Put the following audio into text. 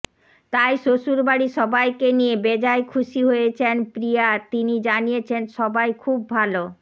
তাই শ্বশুরবাড়ির সবাইকে নিয়ে বেজায় খুশি হয়েছেন প্রিয়া তিনি জানিয়েছেন সবাই খুব ভাল